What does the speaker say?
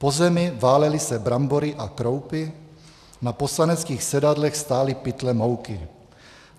Po zemi válely se brambory a kroupy, na poslaneckých sedadlech stály pytle mouky.